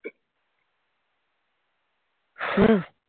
হম